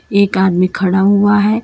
एक आदमी खड़ा हुआ है।